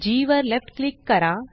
जी वर left click करा